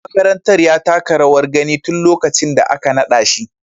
Shugaban makarantar ya taka rawar gani tun lokacin da aka nada shi.